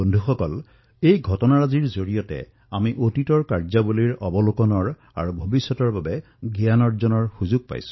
কিন্তু বন্ধুসকল যি দৃশ্য আমি দেখা পাইছো ইয়াৰ জৰিয়তে অতীতত দেশত হল তাৰে অৱলোকন আৰু ভৱিষ্যতৰ বাবে শিকাৰো অৱকাশ লাভ কৰিছো